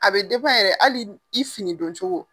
A bɛ yɛrɛ hali i finidoncogo.